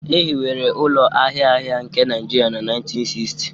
E hiwere ụlọ ahịa ahịa nke Naijiria na 1960